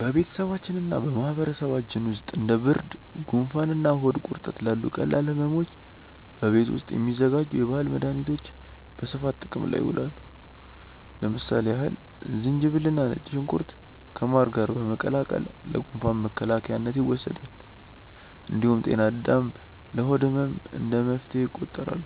በቤተሰባችንና በማህበረሰባችን ውስጥ እንደ ብርድ፣ ጉንፋንና ሆድ ቁርጠት ላሉ ቀላል ሕመሞች በቤት ውስጥ የሚዘጋጁ የባህል መድኃኒቶች በስፋት ጥቅም ላይ ይውላሉ። ለምሳሌ ያህል ዝንጅብልና ነጭ ሽንኩርት ከማር ጋር በመቀላቀል ለጉንፋን መከላከያነት ይወሰዳል። እንዲሁም ጤና አዳም ለሆድ ህመም እንደ መፍትሄ ይቆጠራሉ።